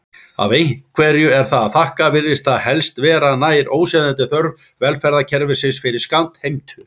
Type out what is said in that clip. Ef einhverju er að þakka virðist það helst vera nær óseðjandi þörf velferðarkerfisins fyrir skattheimtu.